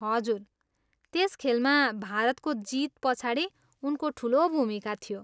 हजुर, त्यस खेलमा भारतको जितपछाडि उनको ठुलो भूमिका थियो।